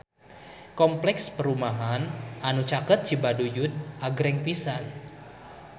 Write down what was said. Kompleks perumahan anu caket Cibaduyut agreng pisan